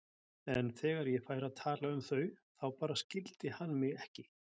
En þegar ég færi að tala um þau þá bara skildi hann mig ekki.